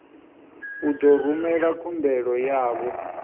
u ḓo rumela khumbelo yavho